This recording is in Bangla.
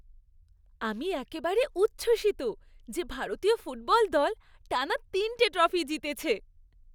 আমি একেবারে উচ্ছ্বসিত যে ভারতীয় ফুটবল দল টানা তিনটে ট্রফি জিতেছে।